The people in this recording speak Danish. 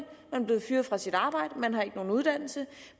blevet fyret fra sit arbejde man har ikke nogen uddannelse